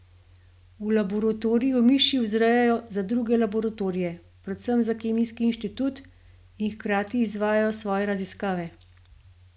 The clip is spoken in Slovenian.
V laboratoriju miši vzrejajo za druge laboratorije, predvsem za Kemijski inštitut, in hkrati izvajajo svoje raziskave.